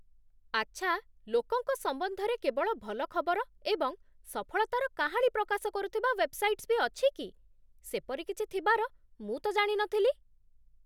ଆଚ୍ଛା, ଲୋକଙ୍କ ସମ୍ବନ୍ଧରେ କେବଳ ଭଲ ଖବର ଏବଂ ସଫଳତାର କାହାଣୀ ପ୍ରକାଶ କରୁଥିବା ୱେବ୍‌ସାଇଟ୍ସ୍ ବି ଅଛି କି? ସେପରି କିଛି ଥିବାର ମୁଁ ତ ଜାଣି ନଥିଲି।